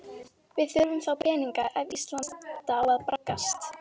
Við þurfum þá peninga ef Ísland á að braggast.